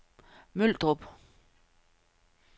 Møldrup